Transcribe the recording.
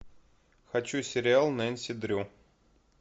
хочу сериал нэнси дрю